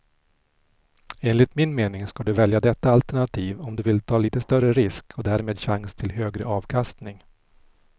Enligt min mening ska du välja detta alternativ om du vill ta lite större risk och därmed chans till högre avkastning.